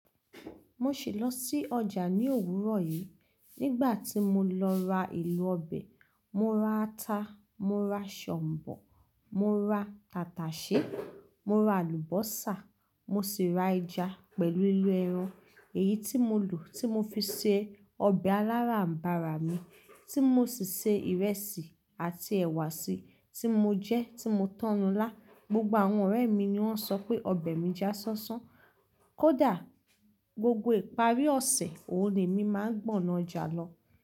Mo sì lọ sí ọjà ní òwúrọ̀ yìí. Nígbà tí mo lọ ra ìlú ọbẹ̀, mo ra ata, mo ra ṣọ̀ǹbọ̀, mo ra tàtàsé, mo ra àlùbọ́sà, mo sì ra ẹja pẹ̀lú ìlú ẹran. Èyí tí mo lò, tí mo fi se ọbẹ̀ alara mbara mi, tí mo sì ṣe ìrẹsì àti ẹ̀wà sí, tí mo jẹ, tí mo tọ́nu lá. Gbogbo àwọn ọ̀rẹ́ mi ni wọ́n sọ pé ọbẹ̀ mi já ṣánṣán. Kódà gbogbo ìparí ọ̀sẹ̀ òní ni máa ń gbọ̀nà ọjà lọ.